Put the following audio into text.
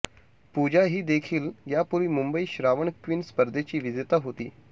पूजा हीदेखील यापूर्वी मुंबई श्रावण क्वीन स्पर्धेची विजेती होती